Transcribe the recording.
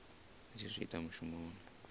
a tshi zwi ita mushumoni